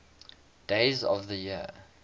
days of the year